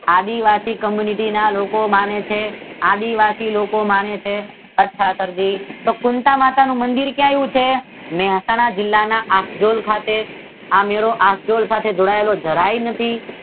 આદિવાસી community ના લોકો માને છે આદીવાસી લોકો માને છે. અથવા તો કુંતાં માતાનું મંદીર ક્યાં આવેલું છે? મહેસાણા જિલ્લાના આખડૂલ ખાતે આ મેળો આખડૂલ સાથે જોડાયેલ જરાય નથી જો સાહેબ